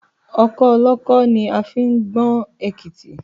Ọkọ́ olọ́kọ́ ni a fi ń gbọn èkítí